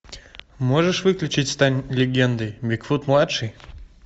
можешь выключить стань легендой бигфут младший